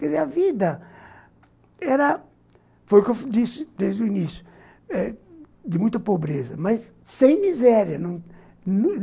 Quer dizer, a vida era, foi o que eu disse desde o início eh, de muita pobreza, mas sem miséria